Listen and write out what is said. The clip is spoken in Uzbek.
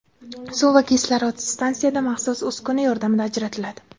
Suv va kislorod stansiyada maxsus uskuna yordamida ajratiladi.